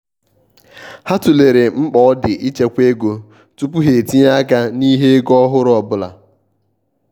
ha tụlere mkpa ọ di ịchekwa ego tupu ha etinye-aka n'ihe ego ọhụrụ ọbụla.